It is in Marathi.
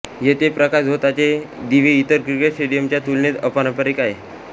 येथे प्रकाशझोताचे दिवे इतर क्रिकेट स्टेडियमच्या तुलनेत अपारंपरिक आहेत